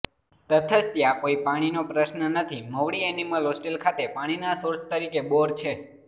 તથશ ત્યાં કોઈ પાણીનો પ્રશ્ન નથી મવડી એનિમલ હોસ્ટેલ ખાતે પાણીના સોર્સ તરીકે બોર છે